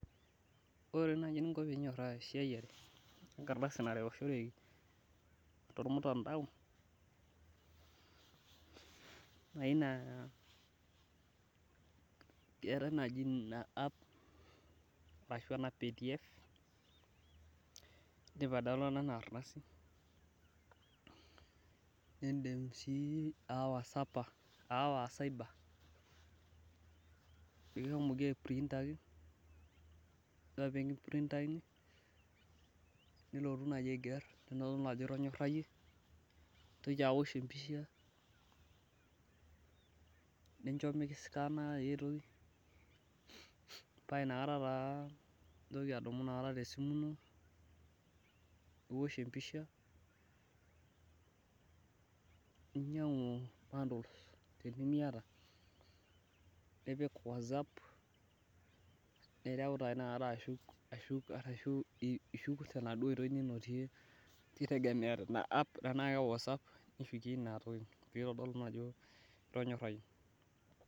ore naaji eninko pee inyoraa enkisiyare enkardasi narewishoreki tolmutandao keetae naaji ina app ashu ena pdf idim ai downloader ina ardasi, nidm sii aawa cyber kipuoi aiprintaki, ore pee kimpirintakini, nilotu aiger ajo itonyorayie, niwosh empisha, paa inakata naa intoki adumu ninyangu bundles tenimiyata, nipik whatsapp nireu taa inakata ashuk tenaduoo itoi ninotie kitegemea tenaa whatsapp inai toi ake nitonyarayie.